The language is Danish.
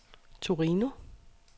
Torino